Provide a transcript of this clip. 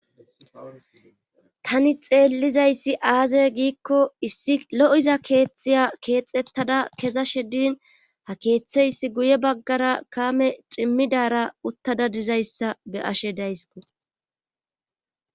tani xeellizayssi aaze giikko issi lo7iza keeththiya keexettada kezashedin ha keeththe issi guye baggara kaame cimmidara uttada dizayssa be ashe daysko